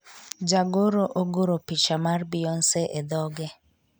Jagoro ogoro picha mar Beyonce e dhoge